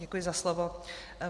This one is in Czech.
Děkuji za slovo.